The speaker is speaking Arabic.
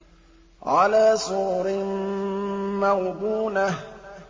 عَلَىٰ سُرُرٍ مَّوْضُونَةٍ